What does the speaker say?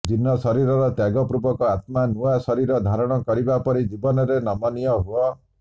ଜୀର୍ଣ୍ଣ ଶରୀର ତ୍ୟାଗପୂର୍ବକ ଆତ୍ମା ନୂଆ ଶରୀର ଧାରଣ କରିବା ପରି ଜୀବନରେ ନମନୀୟ ହୁଅ